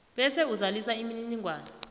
bese uzalisa imininingwana